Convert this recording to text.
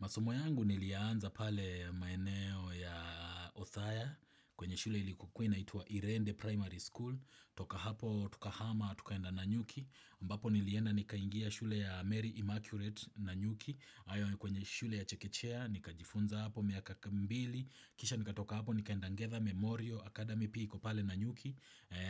Masomo yangu nilianza pale maeneo ya Othaya kwenye shule ilikokuwa inaitwa Irende Primary School. Toka hapo tukahama, tukaenda Nanyuki. Ambapo nilienda nikaingia shule ya Mary Immaculate Nanyuki. Awe ni kwenye shule ya Chekechea, nikajifunza hapo miaka mbili. Kisha nikatoka hapo nikaenda Ngetha Memoriol Academy pia iko pale Nanyuki.